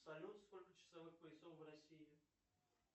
салют сколько часовых поясов в россии